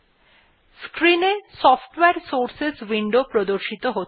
screen এ সফটওয়ারে sources window প্রদর্শিত হবে